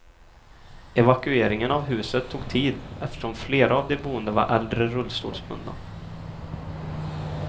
Evakueringen av huset tog tid eftersom flera av de boende var äldre rullstolsbundna.